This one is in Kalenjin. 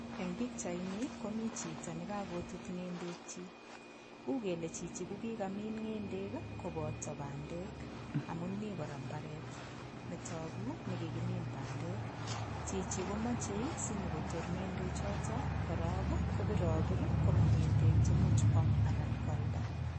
Eng' pikchaini komi chito nekakoet ng'endek chi uu kele chichi kokikamin ng'endek koboto bandek amun mi kora mbaret netoku nekikimin bandek chichi komochei sinyikotor ng'ende choto korok kopiropir komong' ng'endek chemuch kwam anan koalda